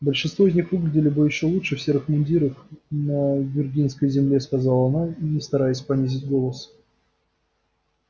большинство из них выглядели бы ещё лучше в серых мундирах на виргинской земле сказала она не стараясь понизить голос